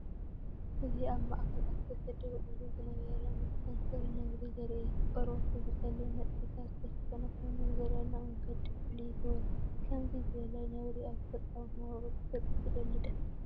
እዚ ኣብ ማእከል ኣትክልቲ ደው ኢሉ ዝነበረ መስተንክር ነብሪ ዘርኢ እዩ። ቆርበቱ ብጸሊም ነጥብታት ዝተሸፈነ ኮይኑ፡ ብዘደንቕ መንገዲ ፍሉይ ይገብሮ። ከምዚ ዝበለ ነብሪ ኣብ ተፈጥሮኣዊ መነባብሮኡ ክትሪኢ ትደሊ ዲኻ?